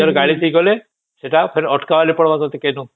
ଆଉ ନିଜର ଗାଡି ଠିକ କଲେ ଫେର ଅଟକା ବୋଲି ପଡିବ ତତେ ସେଇନୁ